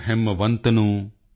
ਪੈਨਿੰਦਾ ਭ੍ਰਿਗੁ ਪਰਚੀਦਾਨੁ